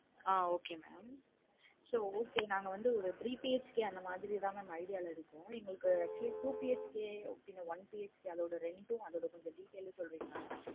ஆஹ் okay mam so okay நாங்க வந்து three BHK அந்த மாதிரிலாதான் ஒரு idea ல இருக்கோம். எங்களுக்கு actually two BHK one BHK அதோட ரெண்டு details சொல்றிங்கலா mam